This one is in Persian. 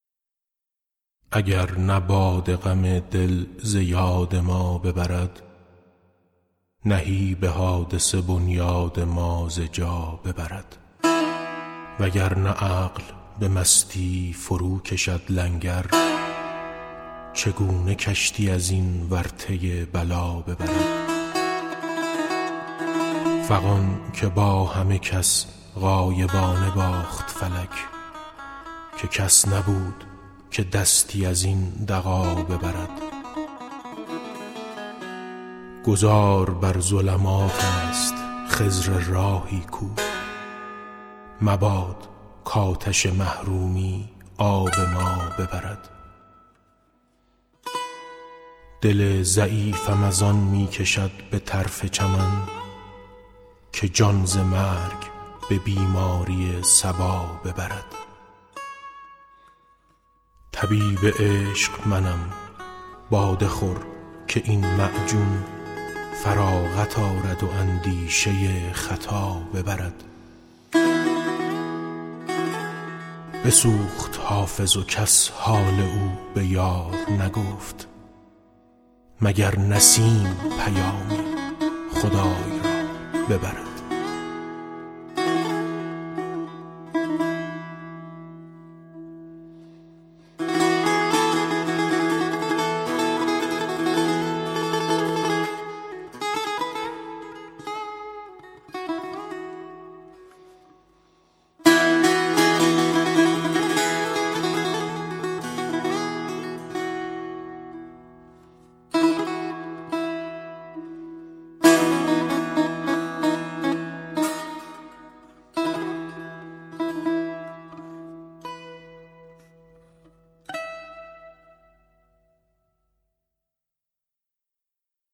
اگر نه باده غم دل ز یاد ما ببرد نهیب حادثه بنیاد ما ز جا ببرد اگر نه عقل به مستی فروکشد لنگر چگونه کشتی از این ورطه بلا ببرد فغان که با همه کس غایبانه باخت فلک که کس نبود که دستی از این دغا ببرد گذار بر ظلمات است خضر راهی کو مباد کآتش محرومی آب ما ببرد دل ضعیفم از آن می کشد به طرف چمن که جان ز مرگ به بیماری صبا ببرد طبیب عشق منم باده ده که این معجون فراغت آرد و اندیشه خطا ببرد بسوخت حافظ و کس حال او به یار نگفت مگر نسیم پیامی خدای را ببرد